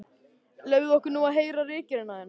Leyfðu okkur nú að heyra ritgerðina þína!